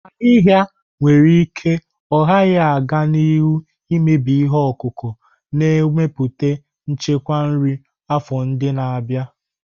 Ahịhịa nwere ike ọ gaghị aga n'ihu na-emebi ihe ọkụkụ, na-emetụta nchekwa nri afọ ndị na-abịa.